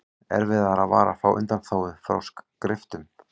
erfiðara var að fá undanþágu frá skriftum